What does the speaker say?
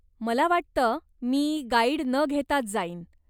मला वाटतं मी गाईड न घेताच जाईन.